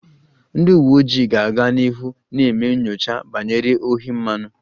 Ndị uwe ojii ga-aga n'ihu na-eme nyocha banyere ohi mmanụ